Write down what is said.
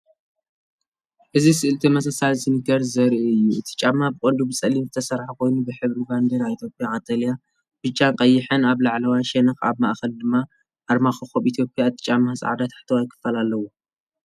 እዚ ስእሊ ተመሳሳሊ ስኒከርስ ዘርኢ እዩ። እቲ ጫማ ብቐንዱ ብጸሊም ዝተሰርሐ ኮይኑ፡ ሕብሪ ባንዴራ ኢትዮጵያ - ቀጠልያ፡ ብጫን ቀይሕን - ኣብ ላዕለዋይ ሸነኽ፡ ኣብ ማእከል ድማ ኣርማ ኮኾብ ኢትዮጵያ። እቲ ጫማ ጻዕዳ ታሕተዋይ ክፋል ኣለዎ።